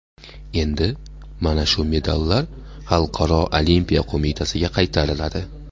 Endi mana shu medallar Xalqaro olimpiya qo‘mitasiga qaytariladi.